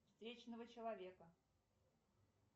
встречного человека